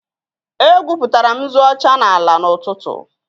Egwupụtara m nzu ọcha n'ala n'ụtụtụ